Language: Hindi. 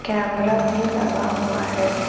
कैमरा भी लगा हुआ है।